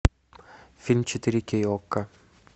фильм четыре кей окко